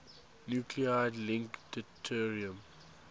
nuclide link deuterium